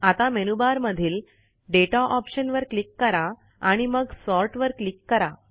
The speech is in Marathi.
आता मेनूबार मधील दाता ऑप्शन वर क्लिक करा आणि मग सॉर्ट वर क्लिक करा